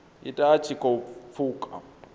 ita a tshi khou pfuka